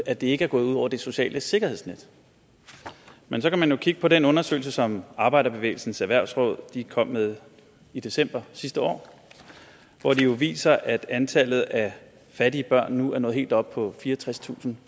at det ikke er gået ud over det sociale sikkerhedsnet men så kan man jo kigge på den undersøgelse som arbejderbevægelsens erhvervsråd kom med i december sidste år hvor de viser at antallet af fattige børn nu er nået helt op på fireogtredstusinde